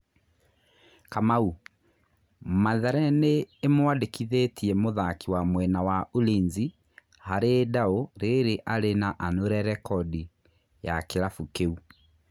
Kamau: Mathare nĩ ĩ mwandĩ kithĩ tie mũthaki wa mwena wa Ulinzi harĩ ndaũ rĩ rĩ a rĩ anure rekodi ya kĩ rabu kĩ u.